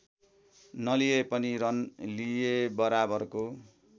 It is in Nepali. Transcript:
नलिए पनि रन लिएबराबरको